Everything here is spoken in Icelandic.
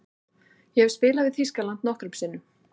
Ég hef spilað við Þýskaland nokkrum sinnum.